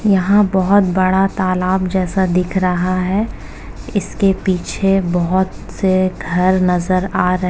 यहाँ बहोत बड़ा तालाब जैसा दिख रहा है। इसके पीछे बहुत से घर नजर आ रहे --